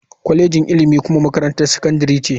Kwalejin ilimi kuma makarantar sakandare ce.